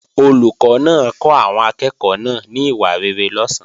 Olùkọ́ náà kọ́ àwọn akẹ́ẹ̀kọ́ náà ní ìwà rere lọ̀sán